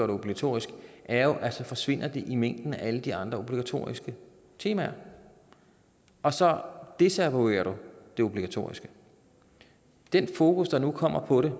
det obligatorisk er at det forsvinder det i mængden af alle de andre obligatoriske temaer og så desavouerer du det obligatoriske den fokus der nu kommer på det